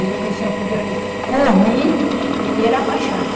Eu digo, o senhor podia. Por mim, ele ia era para a chave.